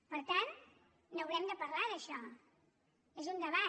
per tant n’haurem de parlar d’això és un debat